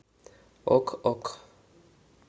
ок ок